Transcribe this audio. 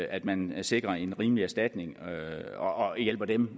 at man sikrer en rimelig erstatning og hjælper dem